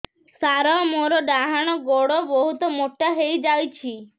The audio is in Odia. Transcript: ସାର ମୋର ଡାହାଣ ଗୋଡୋ ବହୁତ ମୋଟା ହେଇଯାଇଛି